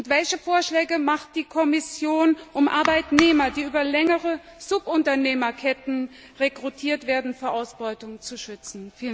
Welche Vorschläge macht die Kommission, um Arbeitnehmer, die über längere Subunternehmerketten rekrutiert werden, vor Ausbeutung zu schützen?